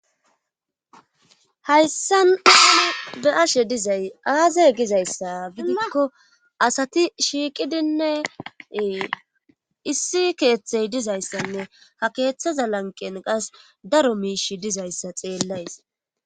Hayssan be ashe dizay aazay gizayssa bidikko asati shiiqidinne issi keeththey dizayssanne ha keeththaza lanqen qas daro miish dizayssa xeellays.